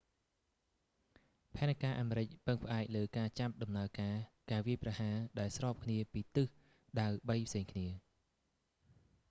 ផែនការអាមេរិកពឹងផ្អែកលើការចាប់ដំណើរការការវាយប្រហារដែលស្របគ្នាពីទិសដៅបីផ្សេងគ្នា